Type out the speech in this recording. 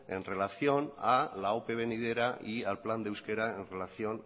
en relación a la ope venidera y al plan de euskera en relación